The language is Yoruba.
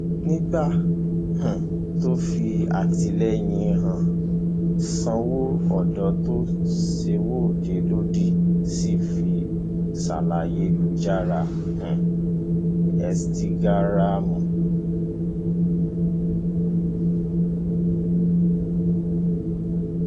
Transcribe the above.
nígbà um tó ń fi àtìlẹyìn rẹ hàn sáwọn ọdọ tó ń ṣèwọde lòdì sí sarslayélujára um ẹ instagram